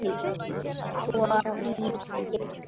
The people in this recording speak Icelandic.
Svo lítill.